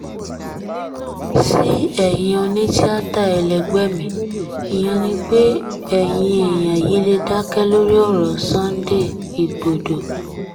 sí ẹ̀yin onítìata ẹlẹgbẹ́ mi ìyẹn ni pé ẹ̀yin èèyàn yìí lè dákẹ́ lórí ọ̀rọ̀ sunday igbodò